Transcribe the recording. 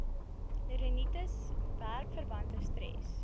rinitis werkverwante stres